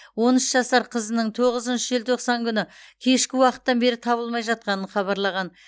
он үш жасар қызының тоғызыншы желтоқсан күні кешкі уақыттан бері табылмай жатқанын хабарлаған